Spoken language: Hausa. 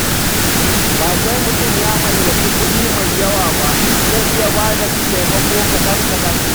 Ba sai mutum ya mallaki kuɗi mai yawa ba, za a iya bada taimako kaɗan-kaɗan.